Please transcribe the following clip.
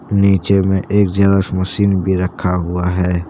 नीचे में एक जेरॉक्स मशीन भी रखा हुआ है।